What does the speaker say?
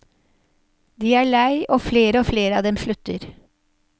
De er lei, og flere og flere av dem slutter.